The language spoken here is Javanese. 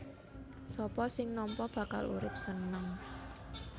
Sapa sing nampa bakal urip seneng